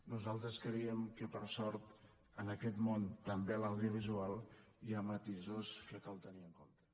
nosaltres creiem que per sort en aquest món també a l’audiovisual hi ha matisos que cal tenir en compte